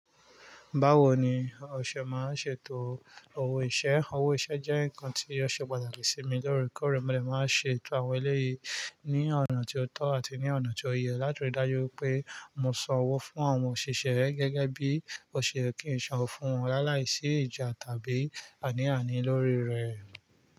Báwo ni o se máa ń ṣètò owó iṣẹ́? Owó iṣẹ́ jẹ́ nǹkan tí ọṣẹ pàtàkì sí mi loorekoore mo lè máa ṣètò àwọn eléyìí ní ọ̀nà tí ó tọ́ àti ní ọ̀nà tí ó yẹ, láti rí i dájú pé mo san owó fún àwọn òṣìṣẹ́ gẹ́gẹ́ bí o se yẹ kí n san owó fún wọn lálàí sí ìjà tàbí àní-àní lórí rẹ̀.